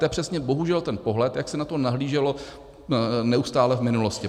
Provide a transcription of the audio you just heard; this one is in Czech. To je přesně bohužel ten pohled, jak se na to nahlíželo neustále v minulosti.